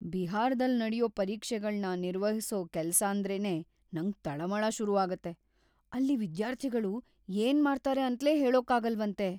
ಬಿಹಾರದಲ್ ನಡ್ಯೋ ಪರೀಕ್ಷೆಗಳ್ನ ನಿರ್ವಹಿಸೋ ಕೆಲ್ಸಾಂದ್ರೇನೇ ನಂಗ್‌ ತಳಮಳ ಶುರುಆಗತ್ತೆ. ಅಲ್ಲಿ ವಿದ್ಯಾರ್ಥಿಗಳು ಏನ್‌ ಮಾಡ್ತಾರೆ ಅಂತ್ಲೇ ಹೇಳೋಕಾಗಲ್ವಂತೆ.